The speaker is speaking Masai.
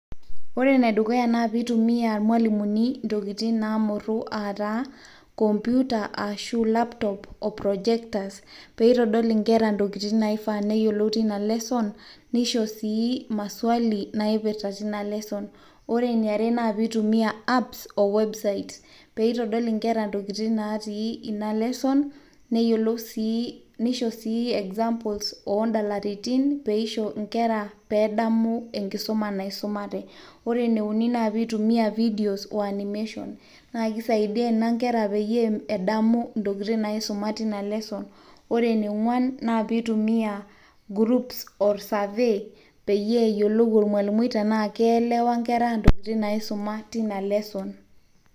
ore enedukuya naa pee eitumia irmalimuni ntokitin naamurru aataa kompyuta ashu laptop o projectors peitodol inkera ntokitin naifaa neyiolou teina lesson neisho sii maswali naipirta ina lesson, ore ene are naa piitumia apps o websites peitodol nkera ntokitin natii ina lesson neishoo sii examples oondalaritin peisho inkera peedamu enkisuma naisumate, ore ene uni naa peitumia videos oo animation naakisaidia ina inkera peyie edamu ntokitin naisuma tina lesson, ore ene ong'uan naa pee eitumia groups or survey peyie eyiolou ormalimui tenaa keelewa inkera ntokitin naisuma tina lesson.